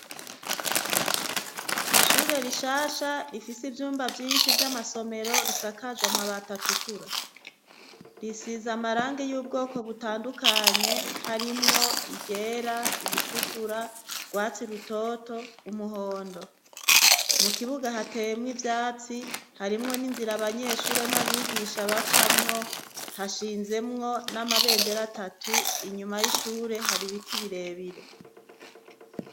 ishure rishasha rifise ivyumba vyinshi vy'amasomero risakajwa amabati atukura risiza amarangi y'ubwoko butandukanye harimwo iryera iritukura urwatsi rutoto umuhondo mu kibuga hateyemwo ivyatsi harimwo n'inzira banyeshure n'abigisha bacamwo hashinzemwo n'amabendera atatu inyuma y'ishure hari biti birebire